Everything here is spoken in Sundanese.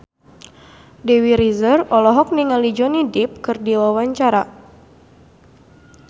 Dewi Rezer olohok ningali Johnny Depp keur diwawancara